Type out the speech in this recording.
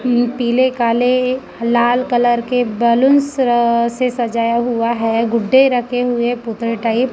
पीले काले लाल कलर के बैलूंस र से सजाया हुआ है गुड्डे रखे हुए पुतले टाइप ।